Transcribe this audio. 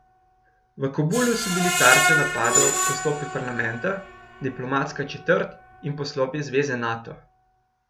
V Kabulu so bili tarča napadov poslopje parlamenta, diplomatska četrt in poslopje zveze Nato.